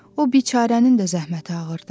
O biçaranın da zəhməti ağırdı.